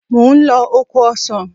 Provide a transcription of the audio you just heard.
Mò ń lọ oko ọsàn.